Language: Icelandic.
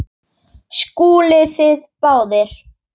SKÚLI: Þið báðir?